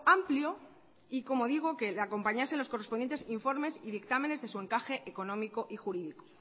amplio y como digo que le acompañasen los correspondientes informes y dictámenes de su encaje económico y jurídico